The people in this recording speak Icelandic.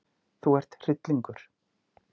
Þú ert hryllingur!